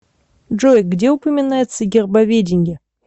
джой где упоминается гербоведение